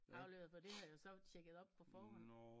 Afleveret for det havde jeg jo så tjekket op på forhånd